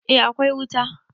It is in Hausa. eh akwai wuta